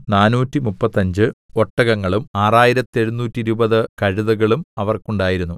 നാനൂറ്റിമുപ്പത്തഞ്ച് ഒട്ടകങ്ങളും ആറായിരത്തെഴുനൂറ്റിരുപത് കഴുതകളും അവർക്കുണ്ടായിരുന്നു